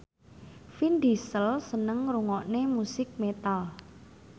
Vin Diesel seneng ngrungokne musik metal